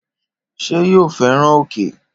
Ṣé yóò fẹ́ràn òkè?